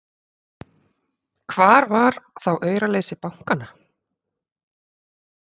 Hvar var þá auraleysi bankanna!